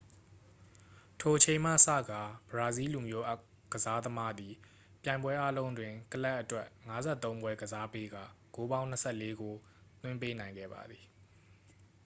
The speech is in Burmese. ထိုအချိန်မှစကာ ဘရာဇီးလူမျိုးကစားသမားသည် ပြိုင်ပွဲအားလုံးတွင် ကလပ်အတွက် 53 ပွဲကစားပေးကာ ဂိုးပေါင်း 24 ဂိုး သွင်းပေးနိုင်ခဲ့ပါသည်